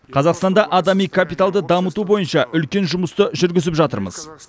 қазақстанда адами капиталды дамыту бойынша үлкен жұмысты жүргізіп жатырмыз